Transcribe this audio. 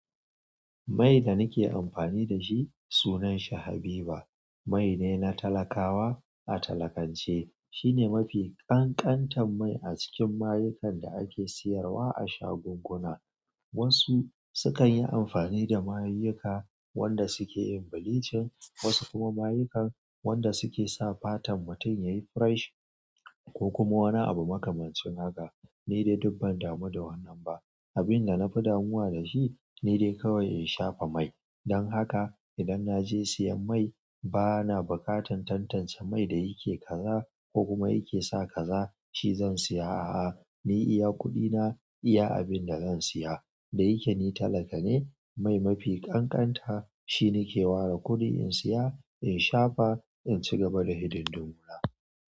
Mai da nake amfani da shi sunan sa Habiba Mai ne na talakawa a talakance. Shine mafi ƙanƙantar mai a cikin mayukan da ake siyarwa a shagunguna. Wasu sukan yi amfani da mayuka wanda suke yin bilicin, wasu kuma mayukan wanda suke sa fatan mutum yayi fresh ko kuma wani abu makamancin haka. Ni dai duk ban damu da wannan ba. Abin da na fi damuwa da shi ni dai kawai in shafa mai. Dan haka idan naje siyan mai bana buƙatar tantance mai da yake kaza ko kuma yake sa kaza shi zan siya a'a. Ni iya kuɗina, iya abin da zan siya. Da yake ni talaka ne, mai mafi ƙanƙanta shi nike ware kuɗi in siya, in shafa, in cigaba da hidindimu na.